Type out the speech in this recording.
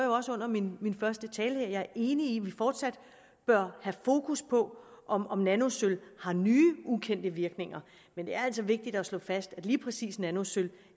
under min første tale at jeg er enig i at vi fortsat bør have fokus på om om nanosølv har nye ukendte virkninger men det er altså vigtigt at slå fast at lige præcis nanosølv